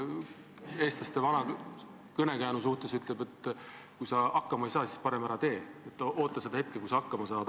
Eestlaste vana kõnekäänd ütleb, et kui hakkama ei saa, siis parem ära tee, oota seda hetke, kui sa hakkama saad.